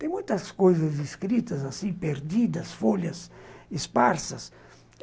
Tem muitas coisas escritas assim, perdidas, folhas esparsas.